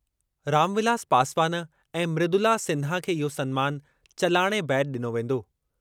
रामविलास पासवान ऐं मृदुला सिन्हा खे इहो सन्मान चलाणे बैदि डि॒नो वेंदो।